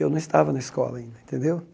Eu não estava na escola ainda, entendeu?